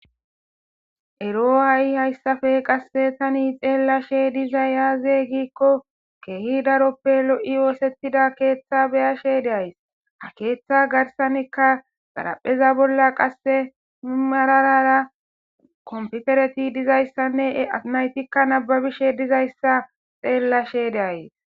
Ero haysappe hay tani xelashe dizzay aybbe gikko kehi daroppe loyi osetida ketha beyashe days ha keetha gidon marara kompiterey dizaysane naytti nababishe dizayssa beyays.